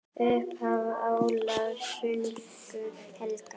Upphaf Ólafs sögu helga.